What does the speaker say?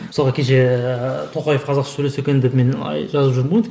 мысалға кеше тоқаев қазақша сөйлесе екен деп мен жазып жүрдім ғой